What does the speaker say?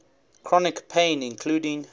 chronic pain including